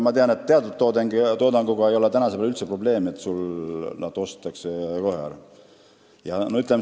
Ma tean, et teatud toodanguga ei ole üldse probleemi: see ostetakse kohe ära.